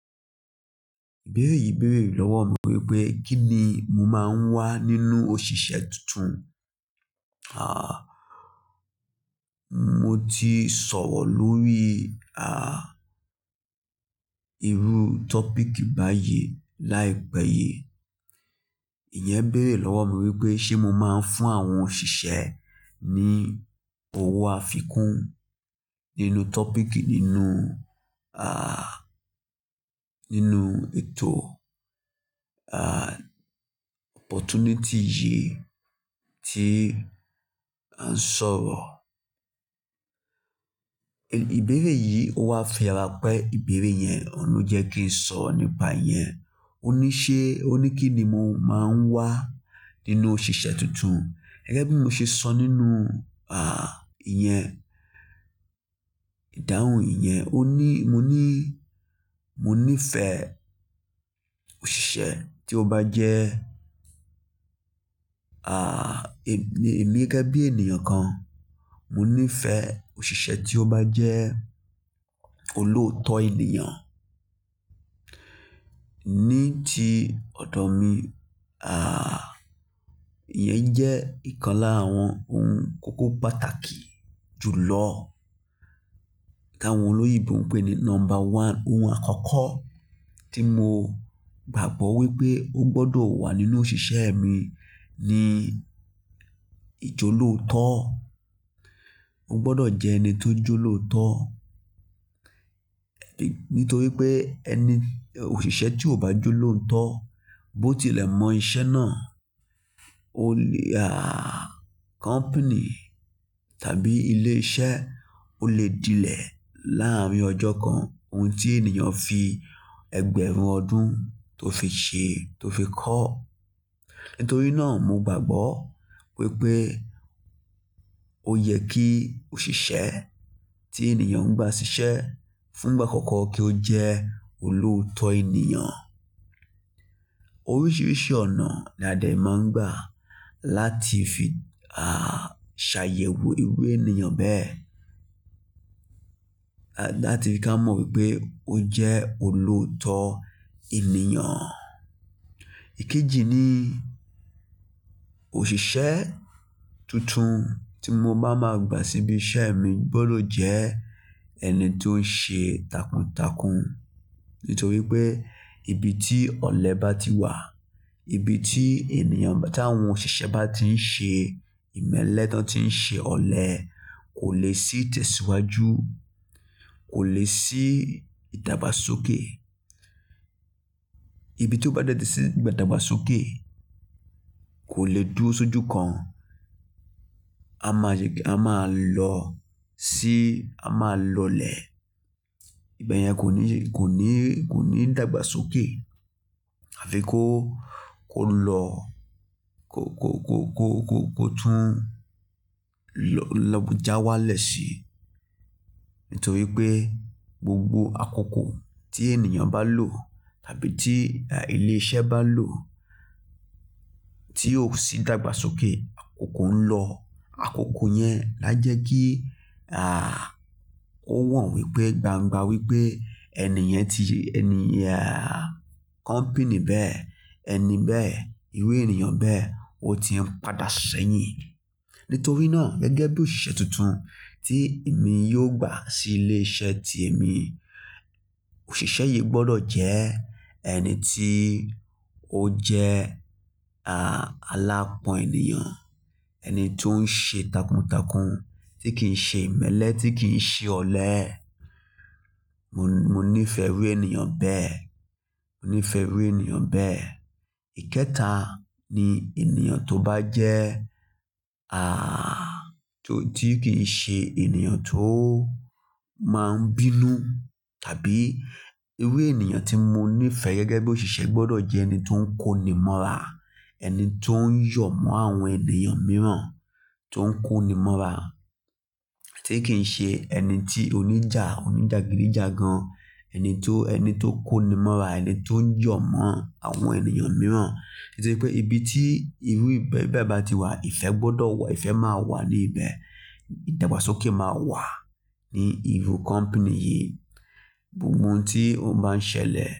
Ìbéèrè yìí bèèrè lọ́wọ́ mi wípé kí ni mo máa ń wá nínú òṣìṣẹ́ tuntun? Ah, mo ti sọ̀rọ̀ lórí ah, irú topic báyìí láìpẹ́ yìí. Ìyẹn béèrè lọ́wọ̀ mi wípé ṣé mo máa ń fún àwọn òṣìṣẹ́ ní òwò àfikún nínú topic nínú ah, nínú ètò ah, opportunity yìí tí à ń sọ̀rọ̀. Ìbéèrè yìí ó wá fi àrá pé ìbéèrè yẹn òun ló jẹ́ kí n sọ nípa yẹn. Ó ní ṣé, ó ní kí ni mo máa ń wá nínú òṣìṣẹ́ tuntun. Gẹ́gẹ́ bí mo ṣe sọ nínú ah, ìyẹn, ìdáhùn ìyẹn, ó ní, mo ní, mo nífẹ̀ẹ́ òṣìṣẹ́ tí ó bá jẹ́ ah, èmi gẹ́gẹ́ bí ènìyàn kan, mo nífẹ̀ẹ́ òṣìṣẹ́ tí ó bá jẹ́ olóótọ́ ènìyàn. Ní ti ọ̀dọ̀ mi ah, ìyẹn jẹ́ ìkan lára àwọn ohun kókó pàtàkì jù lọ. Tá awọ́n óloyìnbó ń pè ní number one, ohun àkọ́kọ́ tí mo gbàgbọ́ wípé ó gbọdọ̀ wà nínú òṣìṣẹ́ mi ni ìjọ̀lòótọ́. Ó gbọdọ̀ jẹ́ ẹni tó jọ̀lòótọ́. Nítorí pé ẹni, òṣìṣẹ́ tí ò bá jọ̀lòótọ́ bó ti lẹ̀ mọ iṣẹ́ náà, ó lè ah, company tàbí ilé iṣẹ́ ó lè dilẹ̀ láàárín ọjọ́ kan. Ohun tí ènìyàn fi ẹgbẹ̀rún ọdún tó fi ṣe, tó fi kọ́. Nítorí náà mo gbàgbọ́ wípé ó yẹ kí òṣìṣẹ́ tí ènìyàn gbà sí iṣẹ́ fún ìgbà àkọ́kọ́ kí ó jẹ́ olòótọ́ ènìyàn. Oríṣiríṣi ọ̀nà ni a dẹ̀ máa ń gbà láti fi ah, ṣàyẹ̀wò irú ènìyàn bẹ́ẹ̀. Láti fi ká mọ wípé ó jẹ́ olóótọ́ ènìyàn. Ikéjì ni òṣìṣẹ́ tuntun tí mo bá máa gbà síbi iṣẹ́ mi gbọdọ̀ jẹ́ ẹni tó ń ṣe takuntakun. Nítorí pé ibi tí ọ̀lẹ bá ti wà, ibi tí ènìyàn, tà wọn òṣìṣẹ́ bá ti ń ṣe ìmẹ́lẹ́ tán tí ń ṣe ọ̀lẹ, kò lè sí ìtẹ̀síwájú, kò lè sí ìdàgbàsókè. Ibi tí ó bá dẹ́ti sí ìdàgbàsókè kò lè dúró sójú kan. A máa ṣe ki, a máa lọ sí, a máa lọlẹ̀. Ibẹ yẹn kò ní, kò ní, kò ní ìdàgbàsókè. Àfi kó, kó lọ, kó, kó kó kó kó kó tún lọ, lọ já wá lẹ̀ si. Nítorí pé gbogbo àkókò tí ènìyàn bá lò tàbí tí ilé iṣẹ́ bá lò tí ò sí ìdàgbàsókè, àkókò ń lọ. Àkókò yẹn a jẹ́ kí ah, ó wọn wípé gbangba wípé ẹni yẹn ti, ẹni yẹn ah, company bẹ́ẹ̀, ẹni bẹ́ẹ̀, irú ènìyàn bẹ́ẹ̀ ó ti ń padà sẹ́yìn. Nítorí náà gẹ́gẹ́ bí òṣìṣẹ́ tuntun tí èmi yóò gbà sí ilé iṣẹ́ tí èmi, òṣìṣẹ́ yìí gbọdọ̀ jẹ ẹni tí ó jẹ́ ah, aláápọn ènìyàn. Ẹni tó ń ṣe takuntakun, tí kìí ṣe ìmẹ́lẹ́, tí kìí ṣe ọ̀lẹ́. Mo, mo nífẹ̀ẹ́ irú ènìyàn bẹ́ẹ̀. Mo nífẹ̀ẹ́ irú ènìyàn bẹ́ẹ̀. Ìkẹta ni ènìyàn tó bá jẹ́ ah, tó tí kìi ṣe ènìyàn tó máa ń bínú tàbí irú ènìyàn tí mo nífẹ̀ẹ́ gẹ́gẹ́ bí òṣìṣẹ́ gbọdọ̀ jẹ́ ẹni tó ń kó nimọ́ra. Ẹni tó ń yọ̀ mọ́ àwọn ènìyàn mìíràn, tó ń kó nimọ́ra, tí kìí ṣe ẹni tí oníjà, oníjàgídíjàgan. Ẹni tó, ẹni tó ń kó nimọ́ra, ẹni tó ń yọ̀ mọ́ àwọn ènìyàn mìíràn. Nítorí pé ibi tí irú ìbẹ́ bẹ́ẹ̀ bá ti wà, ìfẹ́ gbọdọ̀ wà, ìfẹ́ máa wà ní ibẹ̀. Ìdàgbàsókè máa wà ní irú company yìí. Gbogbo ohun tí ó má ń ṣẹlẹ̀